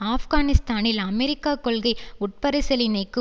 ஆப்கானிஸ்தானில் அமெரிக்க கொள்கை உட்பரிசீலனைக்கு